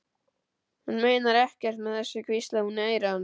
Hún meinar ekkert með þessu, hvíslaði hún í eyra hans.